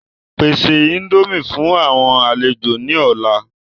Pèsè índòmí fún àwọn àlejò ni ọ̀la!